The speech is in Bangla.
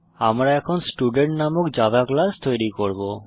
আমরা এখন স্টুডেন্ট নামক জাভা ক্লাস তৈরী করব